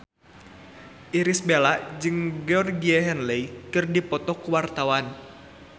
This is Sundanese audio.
Irish Bella jeung Georgie Henley keur dipoto ku wartawan